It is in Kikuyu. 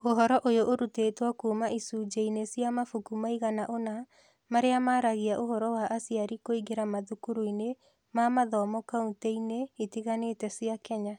Ũhoro ũyũ ũrutĩtwo kuuma icunjĩ-inĩ cia mabuku maigana ũna marĩa maragia ũhoro wa aciari kũingĩra mathukuru-inĩ ma mathomo kaunti-inĩ itiganĩte cia Kenya.